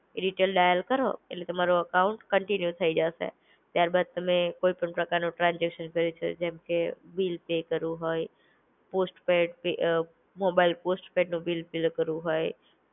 Detail dial કરો એટલે તમારો એકાઉન્ટ કન્ટિન્યુ થઇ જશે. ત્યાર બાદ તમે કોઈ પણ પ્રકારનો ટ્રાન્સઝેકશન જેમકે બિલ પે કરવું હોય, પોસ્ટ-પૈડ અમ મોબાઈલ પોસ્ટ-પૈડનું બિલ ક્લીયર કરવું હોય